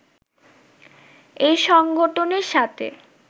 এই সংগঠনের সাথে